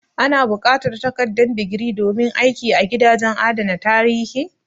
A na buƙatar takardar digiri domin aiki a gidajen adana tarihi?